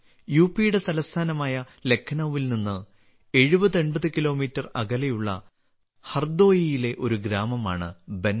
യുപിയുടെ തലസ്ഥാനമായ ലഖ്നൌവിൽ നിന്ന് 7080 കിലോമീറ്റർ അകലെയുള്ള ഹർദോയിയിലെ ഒരു ഗ്രാമമാണ് ബൻസ